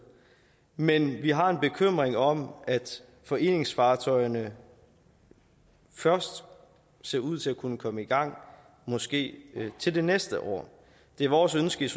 men vi har en bekymring om at foreningsfartøjerne først ser ud til at kunne komme i gang måske til næste år det er vores ønske